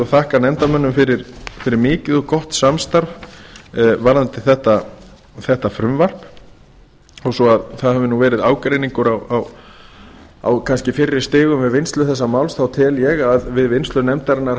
þakka nefndarmönnum fyrir mikið og gott samstarf varðandi þetta frumvarp þó svo það hafi verið ágreiningur á fyrri stigum við finnlsu þessa máls þá tel ég að við vinnslu nefndarinnar